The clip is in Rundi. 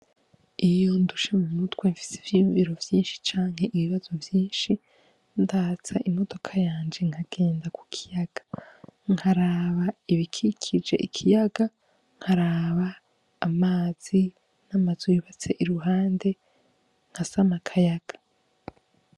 Iyo ndushe mu mutwe mfis'ivyiyumviro vyinshi canke ibibazo vyinshi ndatsa imodoka yanje nkagenda ku kiyaga . Nkaraba ibikikije ikiyaga, nkaraba amazi n'amazu yubatse k'uruhande nkasam'akayaga.